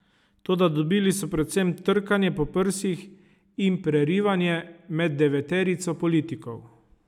Toda dobili so predvsem trkanje po prsih in prerivanje med deveterico politikov.